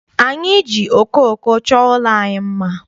Anyị ji okooko chọọ ụlọ anyị mma.